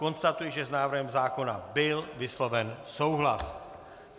Konstatuji, že s návrhem zákona byl vysloven souhlas.